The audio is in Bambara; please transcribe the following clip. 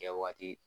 Kɛ waati